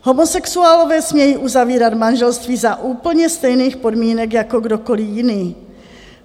Homosexuálové smějí uzavírat manželství za úplně stejných podmínek jako kdokoliv jiný.